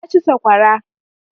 Na ci saƙwara